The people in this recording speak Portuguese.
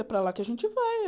É para lá que a gente vai.